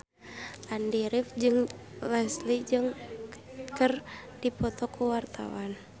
Andy rif jeung Leslie Cheung keur dipoto ku wartawan